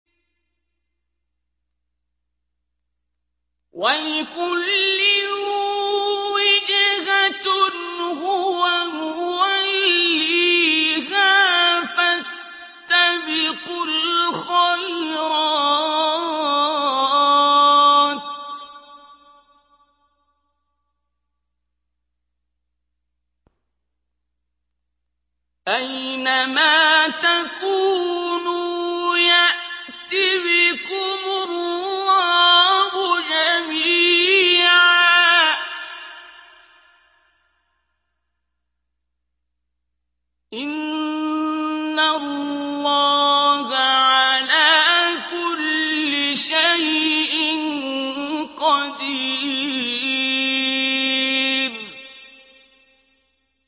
وَلِكُلٍّ وِجْهَةٌ هُوَ مُوَلِّيهَا ۖ فَاسْتَبِقُوا الْخَيْرَاتِ ۚ أَيْنَ مَا تَكُونُوا يَأْتِ بِكُمُ اللَّهُ جَمِيعًا ۚ إِنَّ اللَّهَ عَلَىٰ كُلِّ شَيْءٍ قَدِيرٌ